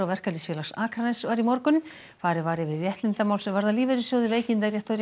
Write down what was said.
Verkalýðsfélags Akraness var í morgun farið var yfir réttindamál sem varða lífeyrissjóði veikindarétt og